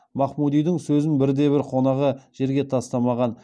махмудидің сөзін бірде бір қонағы жерге тастамаған